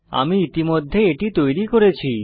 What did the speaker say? আমি ইতিমধ্যে এটি তৈরি করেছি